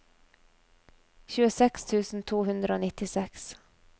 tjueseks tusen to hundre og nittiseks